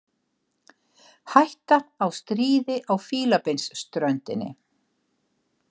Hætta á stríði á Fílabeinsströndinni